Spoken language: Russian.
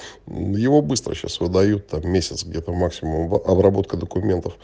его быстро сейчас выдают там месяц где-то максимум обработка документов